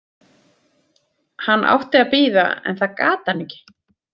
Hann átti að bíða en það gat hann ekki.